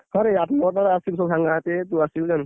ହଁ ରେ ଆଠ ନଅଟା ସବୁ ସାଙ୍ଗ ସାଥି ତୁ ଆସିବୁ ।